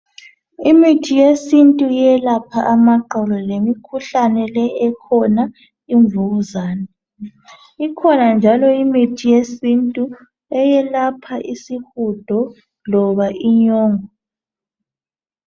Imithi yesintu eyelapha amaxolo lemi khuhlane le ekhona ivukuzane. Ikhona njalo imithi yesintu eyelapha isihudo loba inyongo.